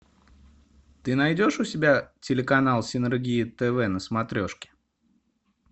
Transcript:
ты найдешь у себя телеканал синергия тв на смотрешке